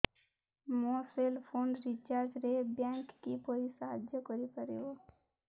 ମୋ cell phone ରିଚାର୍ଜ ରେ ବ୍ୟାଙ୍କ୍ କିପରି ସାହାଯ୍ୟ କରିପାରିବ